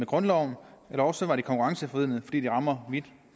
grundlove eller også var det konkurrenceforvridende fordi det rammer vidt